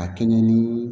A kɛɲɛ ni